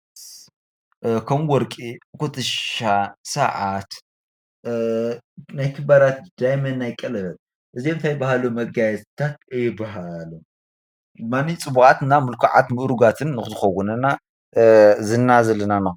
ከም ወርቂ፣ ኩትሻ፣ ሰዓት ናይ ክባራት ዳይመንድ ናይ ቀለበት እዚኦም እንታይ ይበሃሉ መጋየፂታት ይበሃሉ። እዚ ድማኒ ፅቡቓትን ምልኩዓትን ምእሩጋትን ንክንኸውንና ዝና ዘለና ንክንኸውን።